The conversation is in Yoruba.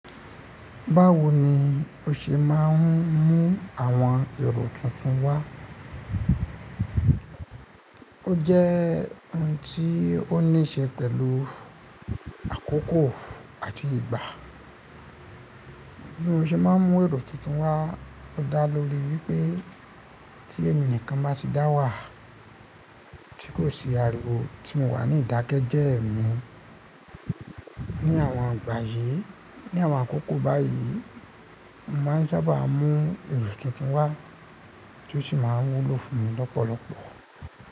Báwo ni o ṣe máa ń mú àwọn èrò tuntun wá? O jẹ́ ohun tí ó níṣe pẹ̀lú àkókò àti ìgbà. Bí mo ṣe máa ń mú èrò tuntun wá, ó dá lórí wípé tí ẹmi nikan bá ti dá wà tí kò sì ariwo tí mo wà ní ìdákẹ́jẹ́ẹ́ mi. Ni àwọn ìgbà yìí, ni àwọn àkókò báyìí, mo máa ń sábà mú èrò tuntun wá tí ó sì máa ń wúlò fún mi lọ́pọ̀lọpọ̀.